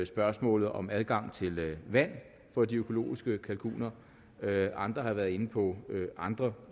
spørgsmålet om adgang til vand for de økologiske kalkuner andre har været inde på andre